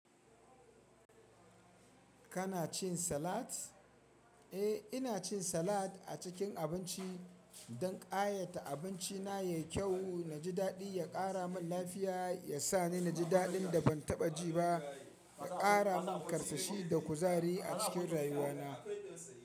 Kana cin salat? Eh, ina cin salat a cikin abinci don ƙayata abinci na yayi kyau, na ji daɗi, ya ƙara min lafiya, ya sa ni na ji daɗin da ban taɓa ji ba, ya ƙara min ƙarsashi da kuzari a cikin rayuwa na.